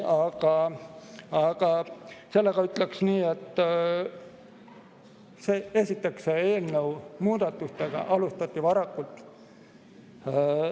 Aga ütleksin nii, et esiteks alustati eelnõu muudatustega varakult.